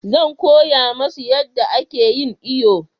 Zan koya musu yanda a ke yin iyo